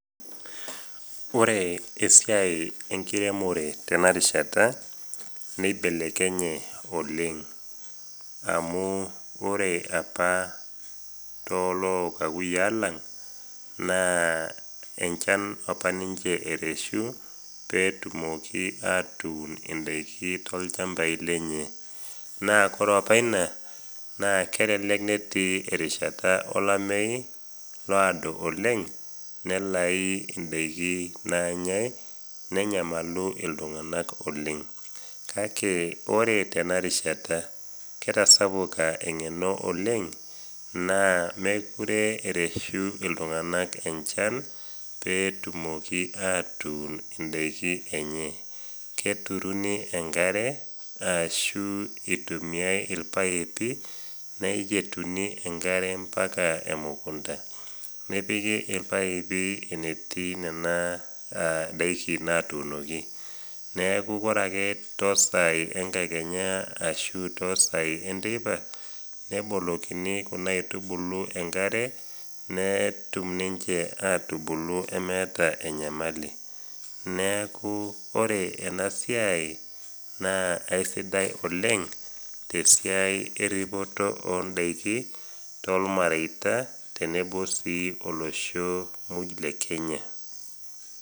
Ore esiai enkiremore tenakata neibelekenye amu ore apa toolookakuyia lang naa enchan apa ninche ereshu mpe etumoki atun ndaiki toolchampai lenye. naa ore apa ina elelek etii erishata olameyu oodo oleng nalau ndaiki naanyae nenyamalu iltunganak oleng. kake ore tenakata neitegeni iltunganak oleng, mookure ereshu iltunganak enchan pee etumoki aatun indaikin enye ,keturuni enkare ashu eitumiyia irpaipi neyietuni enkare mpaka emukunta nepiki irpaipi enetiu nena daiki naatuunoki ,neeku ore ake toosai enkakenya ashu toosai enteipa nebukukoni Kuna aitubulu enkare netum ninche atubulu meeta enyamali neeku ore ena siai naa eisidai oleng tesiai eripoto oondaikin tolmareita tenebo sii olosho muj lekenya.